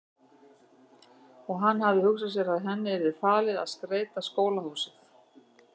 Og hann hafði hugsað sér að henni yrði falið að skreyta skólahúsið.